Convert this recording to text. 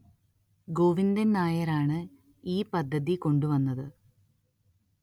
ഗോവിന്ദന്‍ നായര്‍ ആണ് ഈ പദ്ധതി കൊണ്ടുവന്നത്